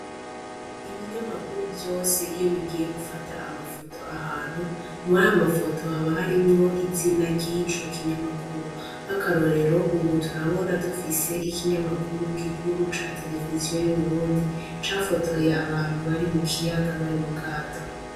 Ibinyamakuru vyose iyo bigiye gufata amafoto ahantu mwa amafoto haba harimwo izina ryico kinyamakuru nk'akarorero, ubu turabona dufise ikinyamakuru gikuru ca televiziyo y'uburundi cafotoye abantu bari mu kiyaga bari mu gato.